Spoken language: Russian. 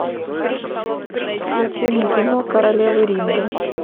включи мне кино королева ринга